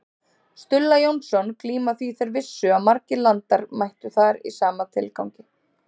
Stulla Jónsson glíma því þeir vissu að margir landar mættu þar í sama tilgangi.